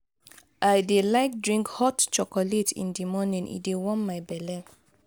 i dey like drink hot chocolate in di morning; e dey warm my belle.